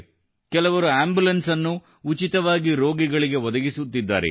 ಕೆಲವರು ಆಂಬುಲೆನ್ಸ್ ಅನ್ನು ಉಚಿತವಾಗಿ ರೋಗಿಗಳಿಗೆ ಒದಗಿಸುತ್ತಿದ್ದಾರೆ